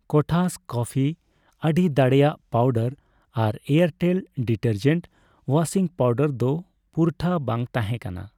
ᱠᱚᱴᱷᱟᱥ coffee ᱟᱹᱰᱤ ᱫᱟᱲᱮᱭᱟᱜ powder ᱟᱨ ᱮᱭᱟᱨᱴᱮᱞ ᱰᱤᱴᱟᱨᱡᱮᱱ ᱳᱣᱟᱥᱤᱝ ᱯᱟᱣᱰᱟᱨ ᱫᱚ ᱯᱩᱨᱴᱷᱟᱹ ᱵᱟᱝ ᱛᱟᱦᱮᱸᱠᱟᱱᱟ ᱾